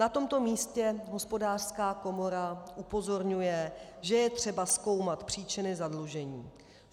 Na tomto místě Hospodářská komora upozorňuje, že je třeba zkoumat příčiny zadlužení.